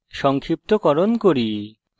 সংক্ষিপ্তকরণ করি